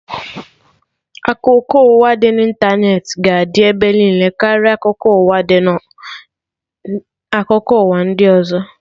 Akụkọ ụwa dị na ịntanetị ga adị ebe niile karịa ụdị akụkọ ụwa ndị ọzọ